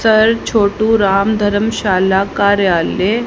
sir Chhotu Ram dharamshala कार्यालय--